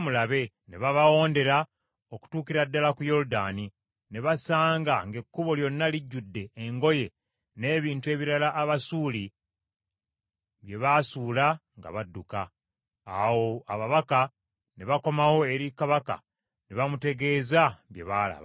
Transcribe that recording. Ne babawondera okutuukira ddala ku Yoludaani, ne basanga ng’ekkubo lyonna lijjudde engoye n’ebintu ebirala Abasuuli bye baasuula nga badduka. Awo ababaka ne bakomawo eri kabaka ne bamutegeeza bye baalaba.